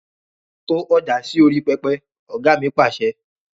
To ọjà sì orí pẹpẹ! Ọ̀gá mi Pàṣẹ.